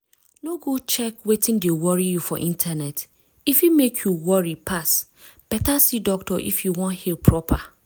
no go check wetin dey worry you for internet e fit mek you worry pass. better see doctor if you wan heal proper.